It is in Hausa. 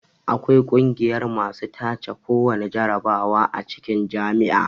Akwai kungiyar masu tace kowana jarabawa a cikin jami'a